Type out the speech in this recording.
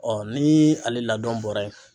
ni ale ladɔn bɔra yen